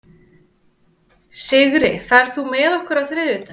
Sigri, ferð þú með okkur á þriðjudaginn?